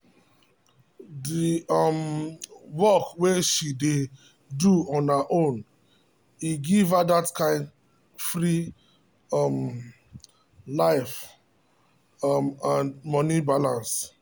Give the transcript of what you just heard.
d um work way she dey do on her own e give her that kind free um life um and money balance.